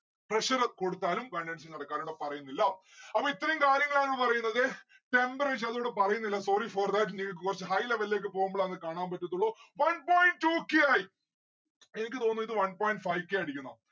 pressure കൊടുത്താലും condensation നടക്കാറുണ്ട് അതിവിടെ പറയുന്നില്ല. അപ്പൊ ഇത്രയും കാര്യങ്ങളാണ് പറയുന്നത്. temperature അതിവിടെ പറയുന്നില്ല sorry for that നിങ്ങക്ക് കൊറച്ച് high level ലേക്ക് പോകുമ്പളാണ് കാണാൻ പറ്റത്തുള്ളൂ one point two k ആയി. എനിക്ക് തോന്നുന്നത് ഇത് one point five k അടിക്കണം